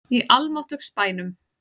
Í almáttugs bænum!